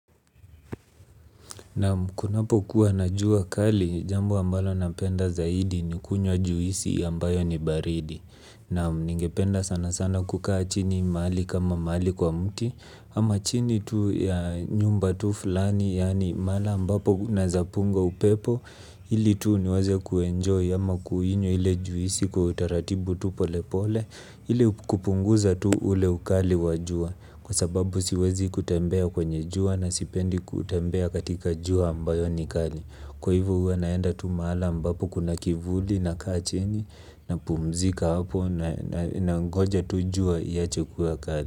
Nam kunapo kuwa na jua kali jambo ambalo napenda zaidi ni kunywa juisi ambayo ni baridi. Nam ningependa sana sana kukaa chini mahali kama mahali kwa mti. Ama chini tu ya nyumba tu fulani yani mahala ambapo unaezapunga upepo. Ili tu niweze kuenjoy ama kuinywa ile juisi kwa utaratibu tu pole pole. Ili kupunguza tu ule ukali wajua. Kwa sababu siwezi kutembea kwenye jua na sipendi kutembea katika jua ambayo ni kali. Kwa hivo huwa naenda tu mahali ambapo kuna kivuli nakaa chini na pumzika hapo nangoja tu jua iache kuwa kali.